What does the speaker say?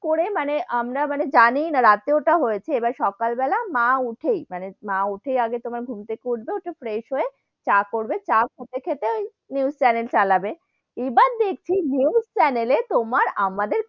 করে মানে আমরা মানে জানিয়েই না রাতে ওটা হয়েছে, এবার সকাল বেলায় মা উঠেই, মানে মা উঠেই ঘুম থেকে উঠবে ঘুম থেকে উঠে fresh হয়ে, চা করবে তার সাথে সাথে news channel চালাবে, এবার দেখছি news channel এ তোমার আমাদের,